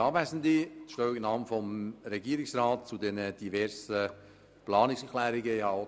Ich gebe die Stellungnahme des Regierungsrats zu den diversen Planungserklärungen ab.